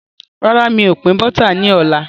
Rárá, mi ò pin Bọ́tà ni ọ̀la.